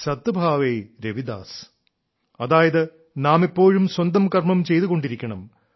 സത് ഭാവൈ രവിദാസ് അതായത് നാം എപ്പോഴും സ്വന്തം കർമ്മം ചെയ്തുകൊണ്ടിരിക്കണം